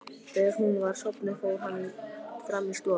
Þegar hún var sofnuð fór hann fram í stofu.